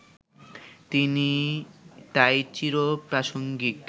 তিনি তাই চির-প্রাসঙ্গিক